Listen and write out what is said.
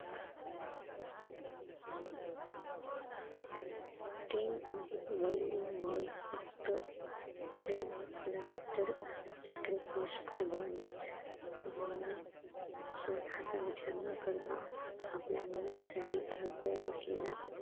ते वडील म्हणजे फक्त प्रेम नव्हे तर sacrifice कुर्बानी अह स्वतःच विचार न करता आपल्या मुलानं साठी धडपडत असलेला